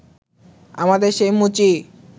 আমাদের সেই মুচি